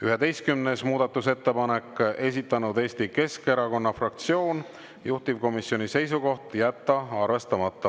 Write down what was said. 11. muudatusettepanek, esitanud Eesti Keskerakonna fraktsioon, juhtivkomisjoni seisukoht on jätta arvestamata.